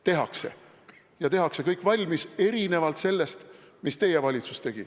Tehakse ja kõik tehakse valmis, erinevalt sellest, mida teie valitsus tegi.